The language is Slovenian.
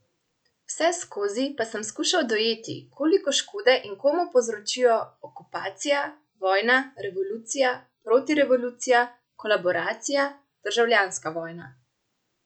Vseskozi pa sem skušal dojeti, koliko škode in komu povzročijo okupacija, vojna, revolucija, protirevolucija, kolaboracija, državljanska vojna.